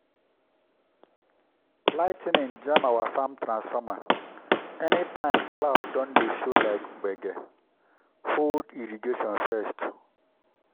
lightning jam our farm transformer—anytime cloud don dey show like gbege hold irrigation first.